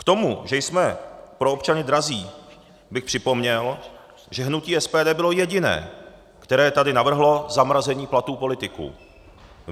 K tomu, že jsme pro občany drazí, bych připomněl, že hnutí SPD bylo jediné, které tady navrhlo zamrazení platů politiků.